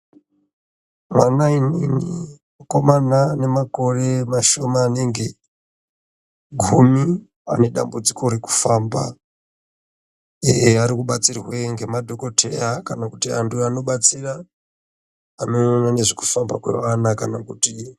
Vana imwimwi vakomana ane makore mashoma maningi gumi vane dambudziko rekufamba eeeh vari kubatsirwe ngemadhokoteya kana kuti antu anobatsira anoona nezvekufamba kweana.